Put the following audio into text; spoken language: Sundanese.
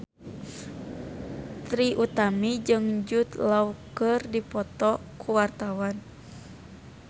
Trie Utami jeung Jude Law keur dipoto ku wartawan